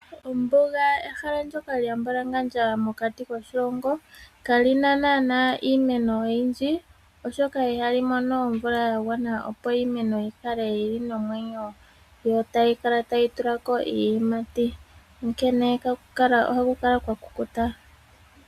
Ombuga ehala ndyoka lya mbwalangandja mokati koshilongo, kali na naana iimeno oyindji, oshoka ihali mono omvula ya gwana, opo iimeno yi kale yi li nomwneyo, yo tayi tila ko iiyimati. Onkene ohaku kala kwa kukuta.